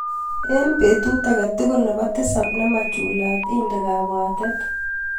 Eng betut akatukul nebo tisap nemachulat, inde kabwatet.